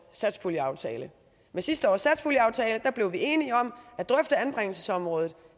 satspuljeaftale med sidste års satspuljeaftale blev vi enige om at drøfte anbringelsesområdet